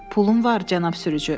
“Pulum var, Cənab sürücü.